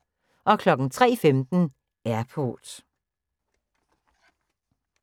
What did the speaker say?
03:15: Airport